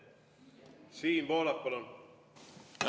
Siim Pohlak, palun!